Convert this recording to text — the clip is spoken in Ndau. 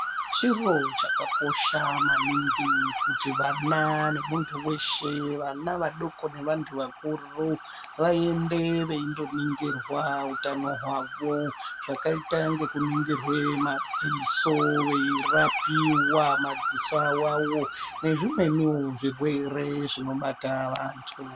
Chiro chakakosha maningi kuti vana nemuntu weshe, vana vadoko nevanthu vakuru vaende veindoningirwa utano hwavo zvakaita ngekuningirwa madziso veirapiwa madziso awawo nezvimweniwo zvirwere zvinobata vantu.